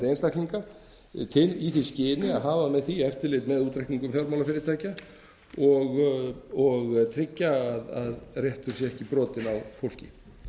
einstaklinga í því skyni að hafa með því eftirlit með útreikningum fjármálafyrirtækja og tryggja að réttur sé ekki brotinn á fólki